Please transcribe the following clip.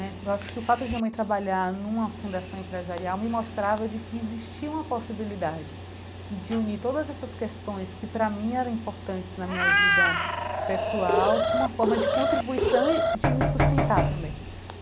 Eu acho que o fato de minha mãe trabalhar numa fundação empresarial me mostrava de que existia uma possibilidade de unir todas essas questões que, para mim, eram importantes na minha vida pessoal, com uma forma de contribuição e de me sustentar também.